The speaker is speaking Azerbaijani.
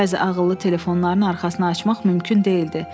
Bəzi ağıllı telefonların arxasını açmaq mümkün deyildi.